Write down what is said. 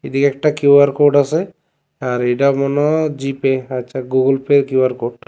এদিকে একটা Q R code আসে আর এডা মনে হয় জিপে আচ্ছা গুগল পের কিউ আর কোড ।